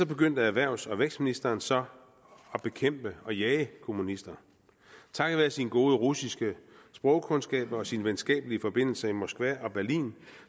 begyndte erhvervs og vækstministeren så at bekæmpe og jage kommunister takket være sine gode russiske sprogkundskaber og sine venskabelige forbindelser i moskva og berlin